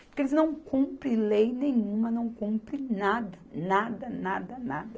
Porque eles não cumprem lei nenhuma, não cumprem nada, nada, nada, nada.